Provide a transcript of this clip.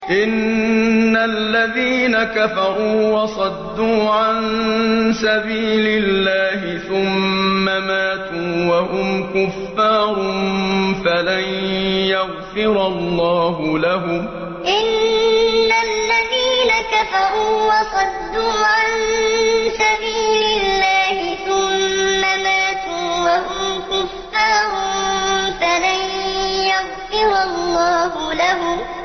إِنَّ الَّذِينَ كَفَرُوا وَصَدُّوا عَن سَبِيلِ اللَّهِ ثُمَّ مَاتُوا وَهُمْ كُفَّارٌ فَلَن يَغْفِرَ اللَّهُ لَهُمْ إِنَّ الَّذِينَ كَفَرُوا وَصَدُّوا عَن سَبِيلِ اللَّهِ ثُمَّ مَاتُوا وَهُمْ كُفَّارٌ فَلَن يَغْفِرَ اللَّهُ لَهُمْ